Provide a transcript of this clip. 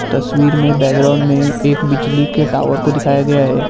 तस्वीर में बैकग्राउंड में एक बिजली के टावर को दिखाया गया है।